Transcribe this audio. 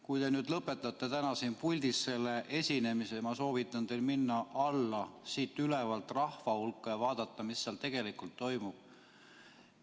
Kui te nüüd lõpetate täna siin puldis selle esinemise, siis ma soovitan teil minna siit ülevalt alla rahva hulka ja vaadata, mis seal tegelikult toimub.